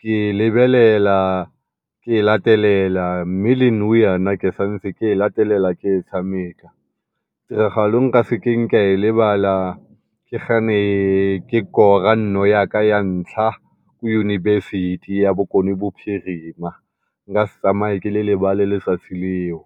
ke lebelela ke latelela le ke santse ke e latelela ke e tshameka. Tiragalo e e nka sekeng ka e lebala ke fa ne ke kora nno yaka ya ntlha ko Yunibesithi ya Bokone Bophirima, nkase tsamaye ke le lebale letsatsi leo.